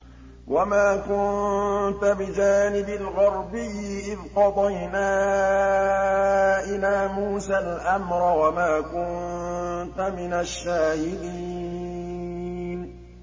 وَمَا كُنتَ بِجَانِبِ الْغَرْبِيِّ إِذْ قَضَيْنَا إِلَىٰ مُوسَى الْأَمْرَ وَمَا كُنتَ مِنَ الشَّاهِدِينَ